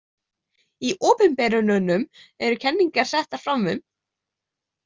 Í opinberununum eru kenningarnar settar fram um.